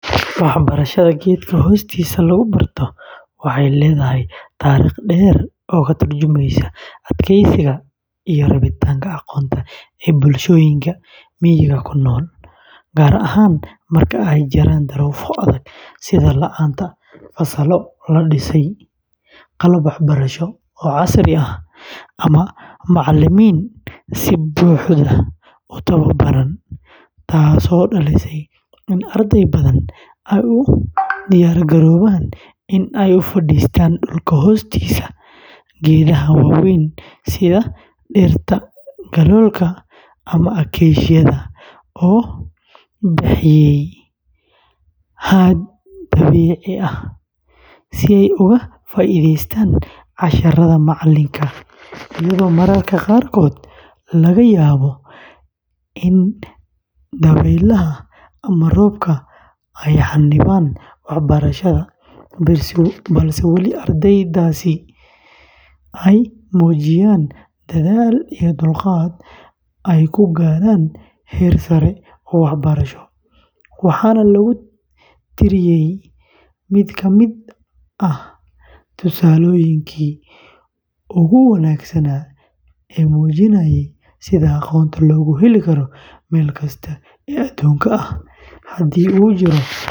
Waxbarashada geedka hoostiisa lagu barto waxay leedahay taariikh dheer oo ka tarjumeysa adkeysiga iyo rabitaanka aqoonta ee bulshooyinka miyiga ku nool, gaar ahaan marka ay jiraan duruufo adag sida la’aanta fasallo la dhisay, qalab waxbarasho oo casri ah, ama macallimiin si buuxda u tababaran, taasoo dhalisay in arday badan ay u diyaargaroobaan inay u fadhiistaan dhulka hoostiisa geedaha waaweyn sida dhirta galoolka ama acacia-da oo bixiya hadh dabiici ah, si ay uga faa’iidaystaan casharrada macallinka, iyadoo mararka qaarkood laga yaabo in dabaylaha ama roobka ay xannibaan waxbarashada, balse weli ardaydaasi ay muujiyaan dadaal iyo dulqaad ay ku gaaraan heer sare oo waxbarasho, waxaana lagu tiriyaa mid ka mid ah tusaalooyinka ugu wanaagsan ee muujinaya sida aqoonta loogu heli karo meel kasta oo adduunka ah haddii uu jiro rabitaan xooggan.